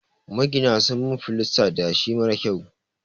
Magina sun min filasta da yashi marar kyau.